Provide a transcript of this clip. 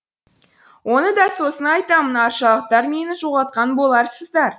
оны да сосын айтамын аршалықтар мені жоғалтқан боларсыздар